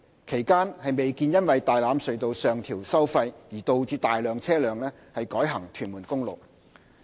其間，未見因為大欖隧道上調收費而導致大量車輛改行屯門公路。